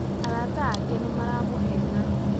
Arata ake nĩ maramũheena